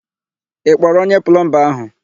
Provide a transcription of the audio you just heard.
Ị kpọrọ onye plọmba áhụ̀?